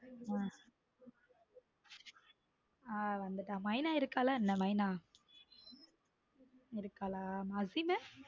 உம் ஹம் மைனா இருக்கலா என்ன மைனா? இருக்கலா அசிம்.